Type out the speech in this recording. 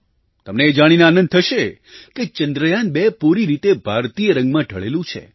તમને એ જાણીને આનંદ થશે કે ચંદ્રયાન2 પૂરી રીતે ભારતીય રંગમાં ઢળેલું છે